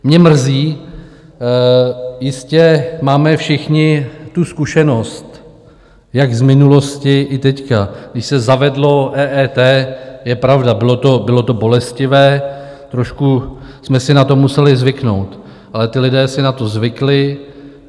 Mě mrzí - jistě máme všichni tu zkušenost, jak z minulosti, i teď, když se zavedlo EET - je pravda, bylo to bolestivé, trošku jsme si na to museli zvyknout, ale ti lidé si na to zvykli.